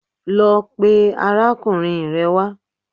Lọ pe arákùnrin rẹ wá